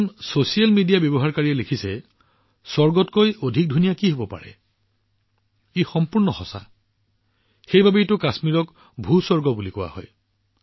এজন social media ব্যৱহাৰকাৰীয়ে লিখিছে এই স্বৰ্গতকৈ অধিক ধুনীয়া কি হব এইটো সম্পূৰ্ণ শুদ্ধ সেয়েহে কাশ্মীৰক ভূস্বৰ্গ বুলি কোৱা হয়